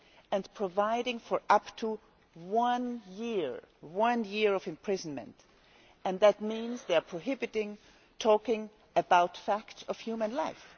and providing for up to one year of imprisonment. That means they are prohibiting talking about facts of human life.